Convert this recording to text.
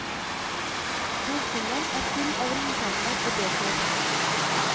Bokhyllen er full av ringpermer og bøker.